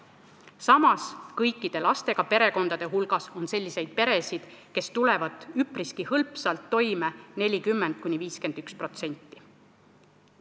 Samas, kõikide lastega perekondade hulgas on selliseid peresid, kes tulevad hõlpsalt toime, 40–51%.